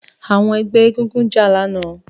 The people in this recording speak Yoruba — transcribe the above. Àwọn ẹgbẹ́ egúngún jà lánàá